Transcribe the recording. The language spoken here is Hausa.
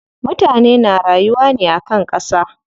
Mutane na rayuwa ne akan ƙasa.